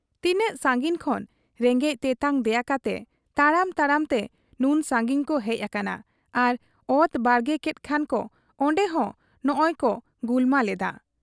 ᱛᱤᱱᱟᱹᱜ ᱥᱟᱺᱜᱤᱧ ᱠᱷᱚᱱ ᱨᱮᱸᱜᱮᱡ ᱛᱮᱛᱟᱝ ᱫᱮᱭᱟ ᱠᱟᱛᱮ ᱛᱟᱲᱟᱢ ᱛᱟᱲᱟᱢ ᱛᱮ ᱱᱩᱱ ᱥᱟᱺᱜᱤᱧ ᱠᱚ ᱦᱮᱡ ᱟᱠᱟᱱᱟ ᱟᱨ ᱚᱛ ᱵᱟᱲᱜᱮ ᱠᱮᱫ ᱠᱷᱟᱱᱠᱚ ᱚᱱᱰᱮᱦᱚᱸ ᱱᱚᱸᱜᱻᱚᱭᱠᱚ ᱜᱩᱞᱢᱟᱞ ᱮᱫᱟ ᱾